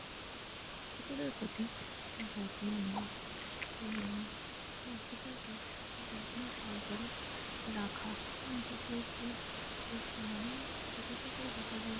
কুকুরের প্রতি যত্ন নেওয়া এবং কুকুরকে যত্ন সহকারে রাখা এবং কুকুরকে পোষ মানানো এটা থেকেই বোঝা যায়।